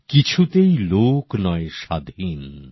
কিছুতে লোক নয় স্বাধীন